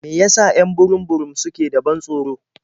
Me ya sa 'yan burum-burum suke da ban tsoro?